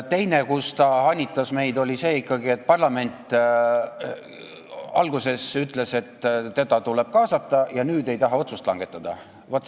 Teine koht, kus ta meid hanitas, oli väide, nagu parlament oleks alguses öelnud, et teda tuleb kaasata, aga nüüd ei tahtvat otsust langetada.